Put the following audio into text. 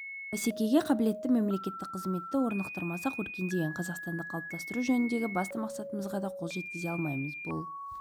бәсекеге қабілетті мемлекеттік қызметті орнықтырмасақ өркендеген қазақстанды қалыптастыру жөніндегі басты мақсатымызға да қол жеткізе алмаймыз бұл